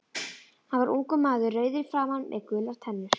Hann var ungur maður, rauður í framan með gular tennur.